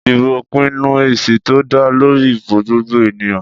Ìdìbò pinnu èsì tó dá lórí ìbò gbogbo ènìyàn.